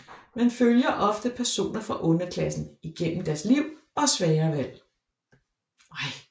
Man følger ofte personer fra underklassen igennem deres liv og svære valg